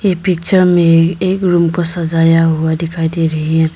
ए picture में एक room को सजाया हुआ दिखाई डे रही है।